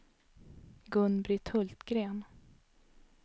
Gun-Britt Hultgren